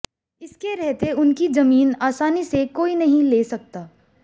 इसके रहते उनकी जमीन आसानी से कोई नहीं ले सकता